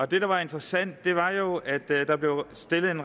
det der var interessant var jo at der blev stillet en